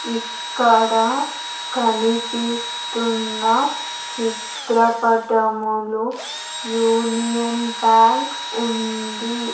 ఇక్కడ కనిపిస్తున్న చిత్రపటములో యూనియన్ బ్యాంక్ ఉంది.